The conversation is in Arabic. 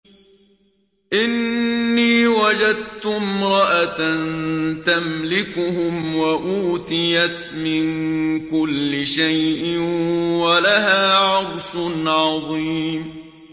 إِنِّي وَجَدتُّ امْرَأَةً تَمْلِكُهُمْ وَأُوتِيَتْ مِن كُلِّ شَيْءٍ وَلَهَا عَرْشٌ عَظِيمٌ